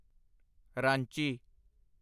Ranchi